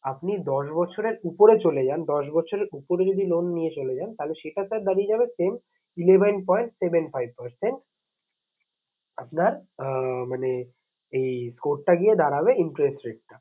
আপনি দশ বছরের উপরে চলে যান দশ বছরের উপরে যদি loan নিয়ে চলে যান তাহলে সেটা sir দাঁড়িয়ে যাবে same eleven point seven five percent আপনার আহ মানে এই code টা গিয়ে দাঁড়াবে interest rate টা